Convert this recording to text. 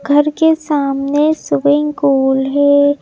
घर के सामने स्विमिंग पूल है।